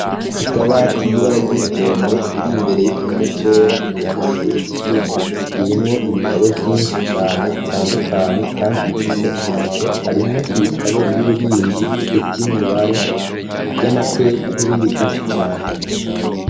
Akabati y'ibara ry'umuhondo iri mbere y'igihome cera ni y'amashure isumbuye irimwo ibitabo vyinshi cane bitandukanye kandi bifise akamaro harimwo ibitabo vy'ubuhinzi ivy'imibare vy'amateka n'ibindi vyinshi cane.